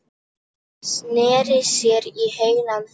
Sneri sér í heilan hring.